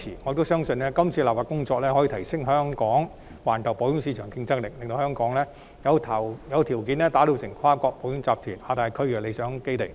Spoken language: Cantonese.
可是，我相信這次修例，將有助提升香港在環球保險市場的競爭力，令香港具備條件成為跨國保險集團在亞太區的理想基地。